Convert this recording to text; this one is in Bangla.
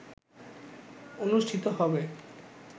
অনুষ্ঠিত হবে